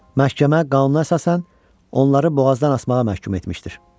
Məhkəmə qanuna əsasən onları boğazdan asmağa məhkum etmişdir.